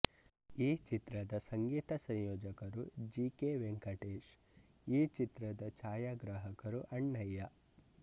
ಈ ಚಿತ್ರದ ಸಂಗೀತ ಸಂಯೋಜಕರು ಜಿ ಕೆ ವೆಂಕಟೇಶ್ ಈ ಚಿತ್ರದ ಛಾಯಾಗ್ರಹಕರು ಅಣ್ಣಯ್ಯ